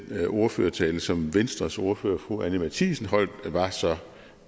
ordførertale som venstres ordfører fru anni matthiesen holdt var så